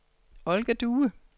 Olga Due